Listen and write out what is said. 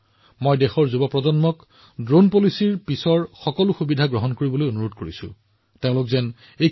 মই দেশৰ যুৱপ্ৰজন্মক ড্ৰোন নীতিৰ পিছত সৃষ্টি হোৱা সুযোগসমূহৰ সদ্ব্যৱহাৰ কৰাৰ বিষয়ে চিন্তা কৰিবলৈও কম